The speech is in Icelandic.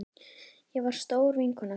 Ég var stór vinkona þín.